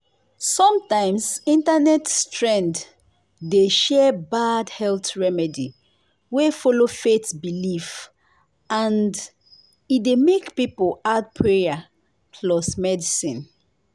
sometimes internet trend dey share bad health remedy wey follow faith belief and e dey make people add prayer plus medicine.